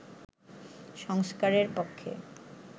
সংস্কারের পক্ষে